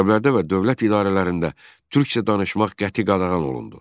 Məktəblərdə və dövlət idarələrində türkcə danışmaq qəti qadağan olundu.